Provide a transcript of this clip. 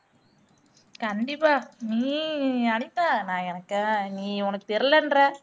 கண்டிப்பா நீ அனிதா நான் எனக்கு நீ உனக்கு தெரியலன்ற